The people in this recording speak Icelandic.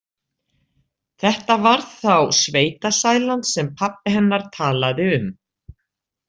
Þetta var þá sveitasælan sem pabbi hennar talaði um.